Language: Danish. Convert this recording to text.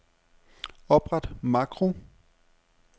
Opret makro.